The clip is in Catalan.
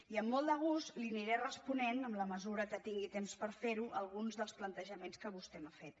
i amb molt de gust li aniré responent en la mesura que tin gui temps per fer ho alguns dels plantejaments que vostè m’ha fet